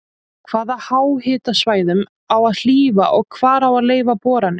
Hvaða háhitasvæðum á að hlífa og hvar á að leyfa boranir?